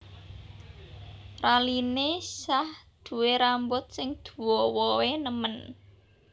Raline Shah duwe rambut sing duowo e nemen